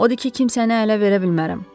Odur ki, kimsəni ələ verə bilmərəm.